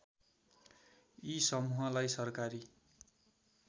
यी समूहलाई सरकारी